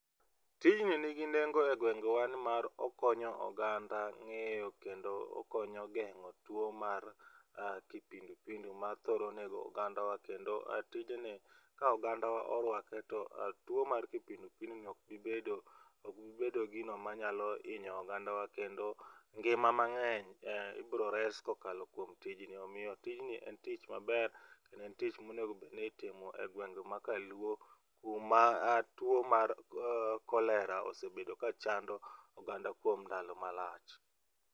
Tijni nigi nengo e gwengewa nimar okonyo oganda ngeyo kendo okonyo gengo tuo mar kipindupindu mathoro nego oganda wa kendo tijni ka ogandawa orwake to tuo mar kipindipindu ok bi bedo ,ok bibedo gino manyalo hinyo oganda wa kendo ngima mangeny ibro res kokalo kuom tijni. Omiyo tijni en tich maber kendo en tich ma onego obed ni itimo e gwenge ma kaluo kuma tuo mar cholera osebedo kachando oganda kuom ndalo malach